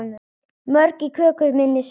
Mörg í köku minni sá.